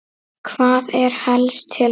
Hvað er helst til ama?